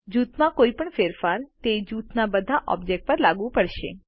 જુથમાં કોઈપણ ફેરફાર તે જૂથના બધા ઓબ્જેક્ટો પર લાગુ પડશે